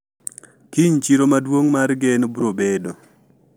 kiny chiro maduong mar gen brobedo